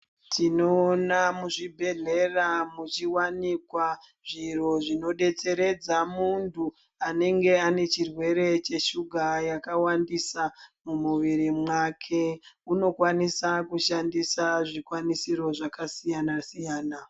Tinoona muzvibhedhlera muchiwanikwa zviro zvinodetseredza muntu anenge ane chirwere cheshuga yakawandisa mumuviri mwake unokwanisa kushandisa zvikwanisiro zvakasiyana-siyana.